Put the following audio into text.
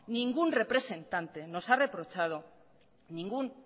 ningún representante nos ha reprochado ningún